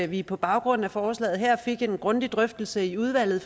vi på baggrund af forslaget her fik en grundig drøftelse i udvalget